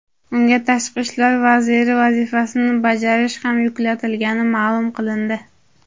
unga tashqi ishlar vaziri vazifasini bajarish ham yuklatilgani ma’lum qilindi.